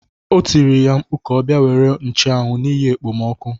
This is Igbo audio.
O tiri ya mkpu ka ọ bia nwere ncheanwu n'ihi ekpemoku.